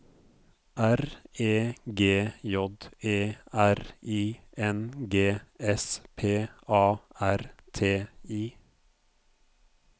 R E G J E R I N G S P A R T I